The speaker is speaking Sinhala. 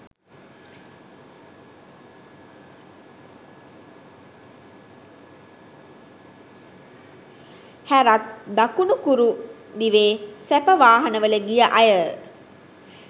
හැරත් දකුණු කුරු දිවේ සැප වාහන වල ගිය අය